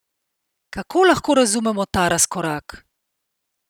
Kako lahko razumemo ta razkorak?